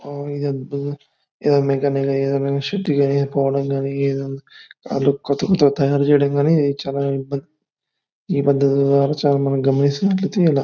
ఆ ఇది ఓ అద్భుతం. డి_ఎన్_ఏ పోవడం కానీ వాళ్ళు కొత్త కొత్త తయారు చేయడం గాని చాలా ఈ పద్ధతులు. ఈ పద్ధతుల ద్వారా చాలా మనం గమనిస్తున్నట్లయితే